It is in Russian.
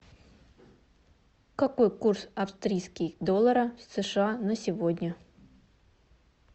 какой курс австрийский доллара в сша на сегодня